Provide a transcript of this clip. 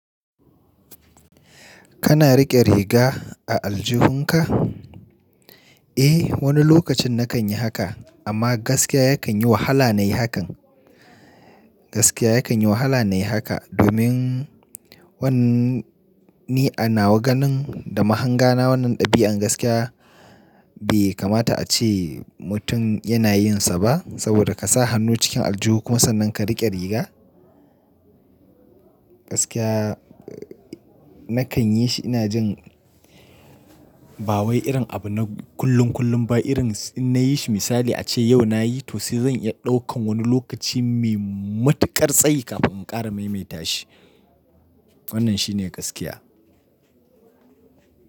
Kana riƙe riga a aljihunka? Eh, wani lokacin na kan yi haka amma gaskiya ya kan yi wahala na yi hakan. Gaskiya ya kan yi wahala na yi haka domin wannan ni a nawa ganin da mahanga na wannan ɗabi'a gaskiya bai kamata a ce mutum yana yin sa ba. Saboda ka sa hannu cikin aljuhu kuma sannan ka riƙe riga. Gaskiya na kan yi shi ina jin ba wai irin abu na kullum kullum ba irin in na yi shi misali a ce yau na yi to sai zan iya ɗaukan wani lokaci mai matuƙar tsayi kafin in ƙara mai mai tashi. Wannan shi ne gaskiya.